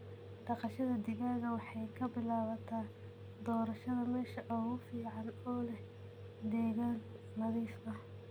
Dhaqashada digaaga waxay ka bilaabataa doorashada meesha ugu fiican oo leh deegaan nadiif ah.